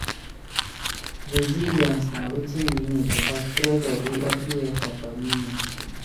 Resilience na wetin we need because pressure dey everywhere for community.